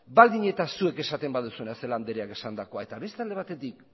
baldin eta zuek esaten baduzue celaá andreak esandakoa eta beste alde batetik